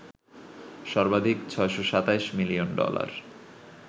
সর্বাধিক ৬২৭ million dollar